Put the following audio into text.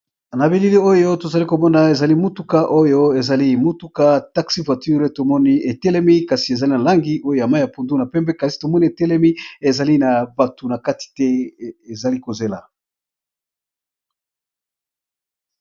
Ba bilili oyo tozali komona ezali motuka oyo ezali motuka taxi voiture tomoni etelemi kasi ezali na langi oyo ya mai ya pundu na pempe kasi tomoni etelemi ezali na batu na kati te ezali kozela.